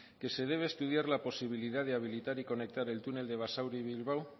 que se debe estudiar la posibilidad de habilitar y conectar el túnel de basauri bilbao